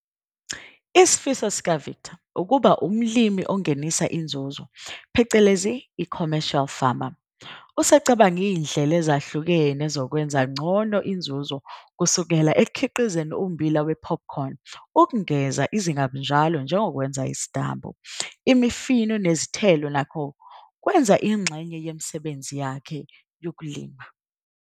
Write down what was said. Isifiso sikaVictor ukuba umlimi ongenisa inzuzo phecelezi i-commercial farmer. Usecabange izindlela ezahlukene zokwenza ngcono inzuzo kusukela ekukhiqizeni ummbila wephophukhoni ukungeza izingabunjalo njengokwenza isitambu. Imifino nezithelo nakho kwenza ingxenye yemisebenzi yakhe yokulima.